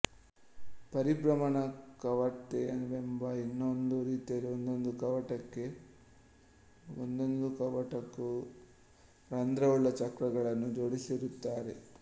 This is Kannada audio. ಪರಿಭ್ರಮಣ ಕವಾಟವೆಂಬ ಇನ್ನೊಂದು ರೀತಿಯಲ್ಲಿ ಒಂದೊಂದು ಕವಾಟಕ್ಕೂ ರಂಧ್ರವುಳ್ಳ ಚಕ್ರಗಳನ್ನು ಜೋಡಿಸಿರುತ್ತಾರೆ